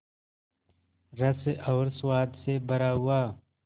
रस और स्वाद से भरा हुआ